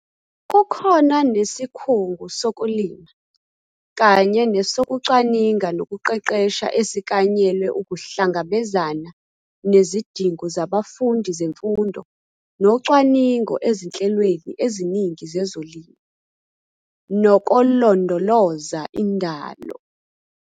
Kukhona nesikhungu sokulima kanye nesokucwaninga nokuqeqesha esiklanyelwe ukuhlangabezana nezidingo zabafundi zemfundo nocwaningo ezinhlelweni eziningi zezolimo, nokolondoloza indalo.